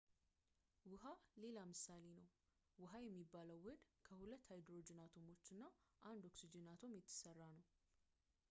ውሃ ሌላ ምሳሌ ነው ውሃ የሚባለው ውህድ ከሁለት ሃይድሮጅን አቶሞችን እና አንድ ኦክሲጅን አቶም የተሰራ ነው